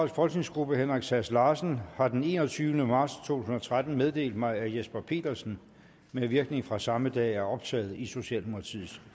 folketingsgruppe henrik sass larsen har den enogtyvende marts to og tretten meddelt mig at jesper petersen med virkning fra samme dag er optaget i socialdemokratiets